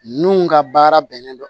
Nun ka baara bɛnnen don